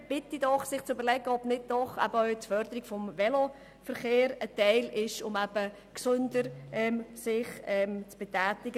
Ich bitte diese, sich zu überlegen, ob nicht auch die Förderung des Veloverkehrs eine Möglichkeit ist, sich gesünder zu betätigen.